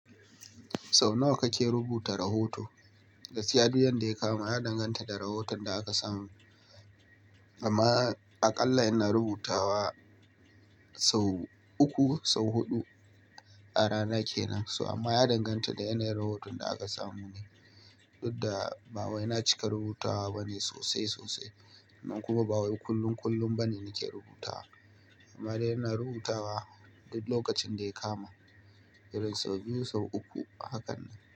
Sau nawa kake rubuta rahoto? Gaskiya, duk yanda ya kama. Ya danganta da rahoton da aka samu. Amma aƙalla ina rubuta wa sau uku, sau huɗu a rana ke nan so. Amma ya danganta da yanayin rahoton da aka samu ne. Duk da ba wai na cika rubutawa bane sosai sosai. Amma kuma ba wai kullum kullum bane nake rubutawa. Amma dai ina rubutawa duk lokacin da ya kama. Irin sau biyu, sau uku. Hakan nan.